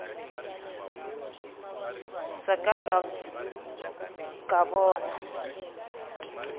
se ka ka ka bona